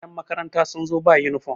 yanmakaranta sun zo ba yunifom